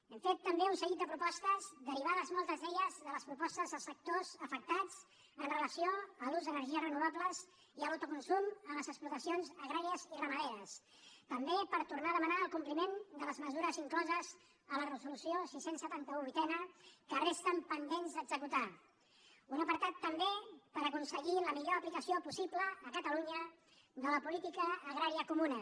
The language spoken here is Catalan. hem fet també un seguit de propostes derivades moltes d’elles de les propostes dels sectors afectats amb relació a l’ús d’energies renovables i a l’autocon·sum en les explotacions agràries i ramaderes també per tornar a demanar el compliment de les mesures incloses a la resolució sis cents i setanta un viii que resten pendents d’executar un apartat també per aconseguir la mi·llor aplicació possible a catalunya de la política agrà·ria comuna